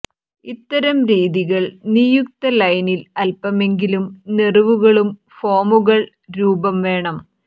ഇത്തരം രീതികൾ നിയുക്ത ലൈനിൽ അല്പമെങ്കിലും നെറിവുകളും ഫോമുകൾ രൂപം വേണം